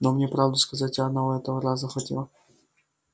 но мне правду сказать и одного этого раза хватило